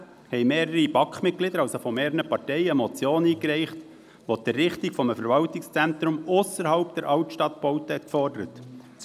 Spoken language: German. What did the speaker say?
2016 reichten mehrere Mitglieder der BaK von mehreren Parteien eine Motion ein, die die Errichtung eines Verwaltungszentrums ausserhalb der Altstadtbauten forderte .